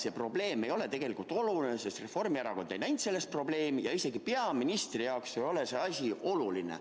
See probleem ei ole tegelikult oluline, sest Reformierakond ei näinud selles probleemi ja isegi peaministri jaoks ei ole see asi oluline.